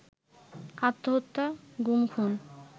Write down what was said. আত্মহত্যা, গুম খুন